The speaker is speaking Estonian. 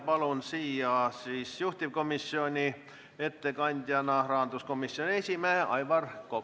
Palun siia juhtivkomisjoni ettekandjana rahanduskomisjoni esimehe Aivar Koka.